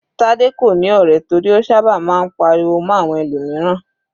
Tade kò ní ọ̀rẹ́ torí ó sábà máa ń pariwo mọ́ àwọn ẹlòmíràn.